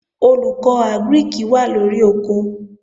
Olùkọ́ Àgírìkì wà lóri oko